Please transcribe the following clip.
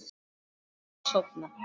Ég þráði að sofna.